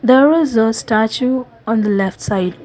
there is a statue on the left side.